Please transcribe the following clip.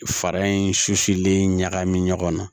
Fara in sulen ɲagami ɲɔgɔn na